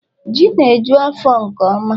Ji na eju afọ nke ọma